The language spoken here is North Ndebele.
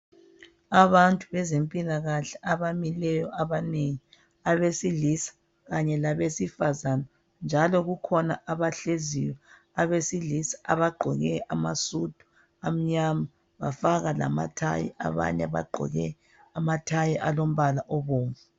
Abantu bezempilakahle abamileyo abanengi. Abesilisa kanye labesifazana njalo kukhona abahleziyo abesilisa abagqoke amasudu amnyama bafaka lamatie. Abanye bagqoke amatie alombala obomvu.